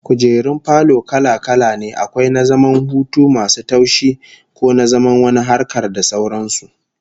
Kujerun falo kala-kala ne, akwai na zaman hutu masu taushi, ko na zaman wani harkar, da sauran su